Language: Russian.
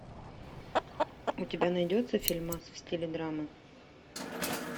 у тебя найдется фильмас в стиле драмы